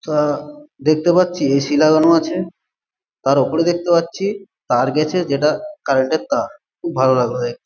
দেখতে পাচ্ছি এ.সি লাগানো আছে। তার ওপরে দেখতে পাচ্ছি তার গেছে যেটা কারেন্ট -এর তার। খুব ভালো লাগলো।